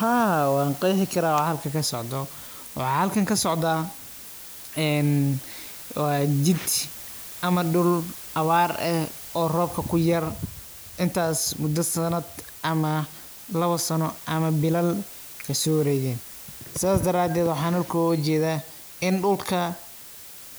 Haa waa qeexi karaa wax halkan kasocdo waxa halkaan kasocdo een waa jid ama dhul abaar eh oo roobka kuyar intaas mudo sanad ama labo sano ama bilala ksoo wareekatey sida dataateed waxa halkaan uga jeeda in dhulka